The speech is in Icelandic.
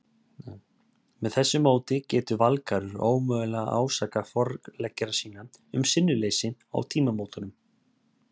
Með þessu móti getur Valgarður ómögulega ásakað forleggjara sína um sinnuleysi á tímamótunum.